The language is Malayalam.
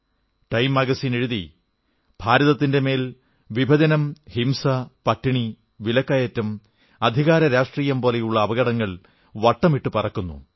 ടൈം മാഗസിൻ എഴുതി ഭാരതത്തിന്റെ മേൽ വിഭജനം ഹിംസ പട്ടിണി വിലക്കയറ്റം അധികാരരാഷ്ട്രീയം പോലുള്ള അപകടങ്ങൾ വട്ടമിട്ടു പറക്കുന്നു